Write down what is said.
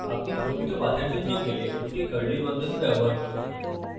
আপনি প্রকৃত পাথের জন্য গেলে দুটি curly বন্ধনী ব্যবহার করতে পারেন